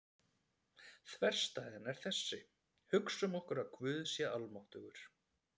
Þverstæðan er þessi: Hugsum okkur að Guð sé almáttugur.